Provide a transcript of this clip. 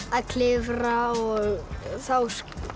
að klifra þá